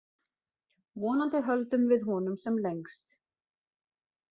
Vonandi höldum við honum sem lengst.